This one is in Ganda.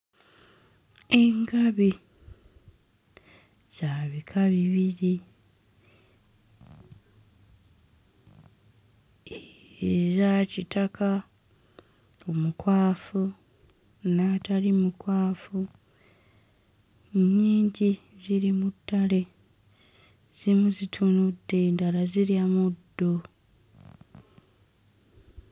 Engabi za bika bibiri, eya kitaka omukwafu n'atali mukwafu, nnyingi ziri mu ttale zimu zitunudde endala zirya muddo.